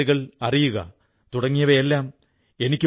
അവസരം കിട്ടിയാൽ തീർച്ചയായും വായിക്കണം